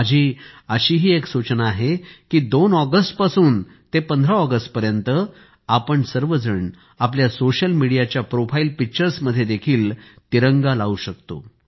माझी एक अशीही सूचना आहे की 2 ऑगस्ट पासून ते 15 ऑगस्ट पर्यंत आपण सगळे आपल्या सोशल मीडियाच्या प्रोफाईल पिक्चर्स मध्येही तिरंगा लावू शकतो